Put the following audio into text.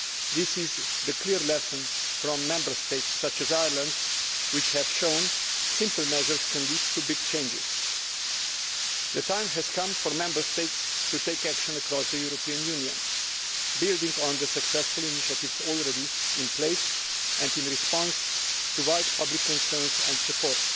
This is the clear lesson from Member States such as Ireland, which have that shown simple measures can lead to big changes. The time has come for Member States to take action across the European Union, building on the successful initiatives already in place and in response to broad public concern and support.